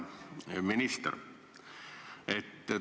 Hea minister!